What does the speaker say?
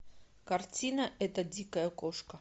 картина эта дикая кошка